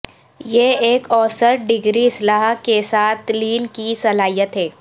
یہ ایک اوسط ڈگری اصلاح کے ساتھ لین کی صلاحیت ہے